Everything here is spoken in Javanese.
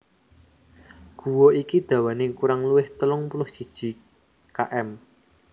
Guwa iki dawane kurang luwih telung puluh siji km